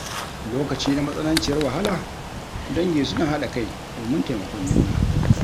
Lokaci na matsananciyar wahala, dangi suna hada kai domin taimakon juna.